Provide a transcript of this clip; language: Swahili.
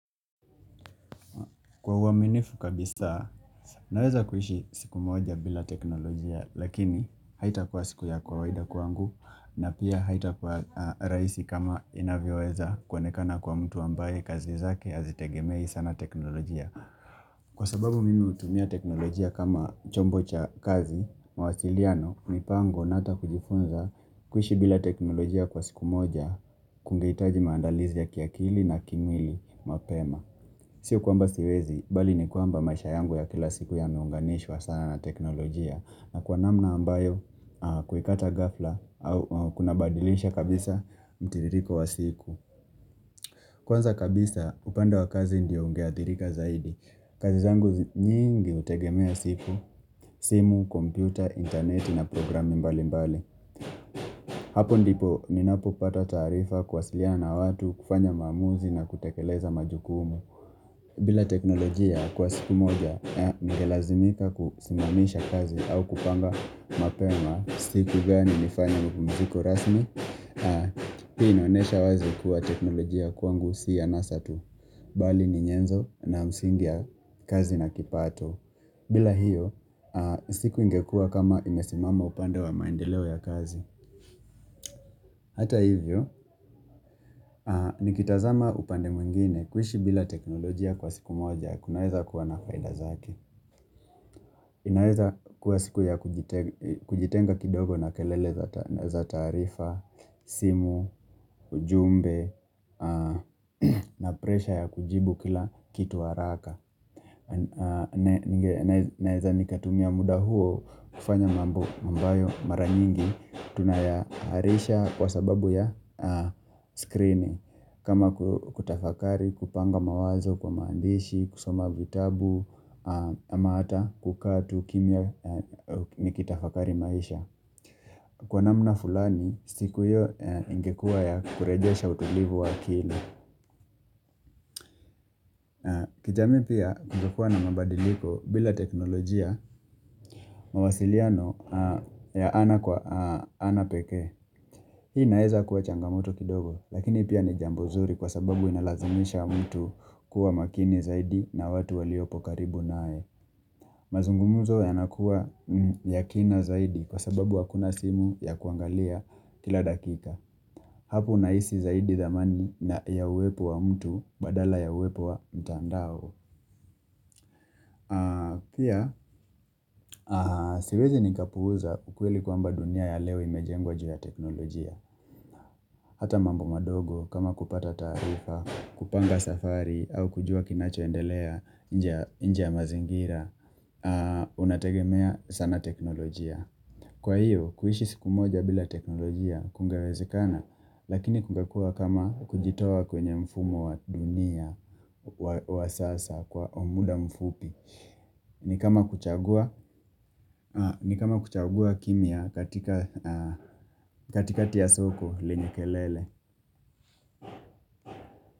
Kwa uwaminifu kabisa, naweza kuishi siku moja bila teknolojia lakini haitakuwa siku ya kawaida kwangu na pia haitakuwa rahisi kama inavyoweza kuonekana kwa mtu ambaye kazi zake hazitegemei sana teknolojia. Kwa sababu mimi hutumia teknolojia kama chombo cha kazi, mawasiliano, mipango na ata kujifunza kuishi bila teknolojia kwa siku moja kunaitaji maandalizi ya kiakili na kimili mapema. Sio kwamba siwezi, bali ni kwamba maisha yangu ya kila siku yameunganishwa sana na teknolojia na kwa namna ambayo kuikata ghafla au kuna badilisha kabisa mtiririko wa siku Kwanza kabisa upande wa kazi ndiyo ungeathirika zaidi kazi zangu nyingi hutegemea siku, simu, kompyuta, interneti na programi mbali mbali Hapo ndipo ninapopata tarifa kuwasilia na watu, kufanya maamuzi na kutekeleza majukumu bila teknolojia kwa siku moja, ningelazimika kusimamisha kazi au kupanga mapema siku gani nifanya mapumziko rasmi, pia inaonesha wazi kuwa teknolojia kwangu si ya anasa tu, bali ni nyenzo na msingi ya kazi na kipato. Bila hiyo, siku ingekua kama imesimama upande wa maendeleo ya kazi. Hata hivyo, nikitazama upande mwingine kuishi bila teknolojia kwa siku moja, kunaweza kuwa na faida zake. Inaweza kuwa siku ya kujitenga kidogo na kelele za taarifa, simu, ujumbe, na presha ya kujibu kila kitu haraka. Naweza ni katumia muda huo kufanya mambo ambayo mara nyingi tunayaharisha kwa sababu ya screening kama kutafakari, kupanga mawazo kwa maandishi, kusoma vitabu, ama hata kukaa tu kimya nikitafakari maisha kwa namna fulani, siku hiyo ingekuwa ya kurejesha utulivu wa akili kijamii pia kungekuwa na mabadiliko bila teknolojia mawasiliano ya ana kwa ana pekee Hii naeza kuwa changamoto kidogo lakini pia ni jambo zuri kwa sababu inalazimisha mtu kuwa makini zaidi na watu waliopo karibu nae Mazungumuzo yanakuwa ya kina zaidi kwa sababu hakuna simu ya kuangalia kila dakika hapo unahisi zaidi zamani na ya uwepo wa mtu badala ya uwepo wa mtandao Pia, siwezi nikapuza ukweli kwa mba dunia ya leo imejengwa jua teknolojia Hata mambo madogo, kama kupata taarifa, kupanga safari au kujua kinacho endelea nje ya mazingira Unategemea sana teknolojia kwa hiyo, kuishi siku moja bila teknolojia, kungewezekana Lakini kungekuwa kama kujitoa kwenye mfumo wa dunia, wa sasa, kwa muda mfupi ni kama kuchagua kimia katikati soko lenye kelele.